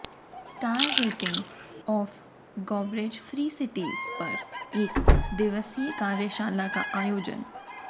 star rating of garbage free cities पर एक दिवसीय कार्यशाला का आयोजन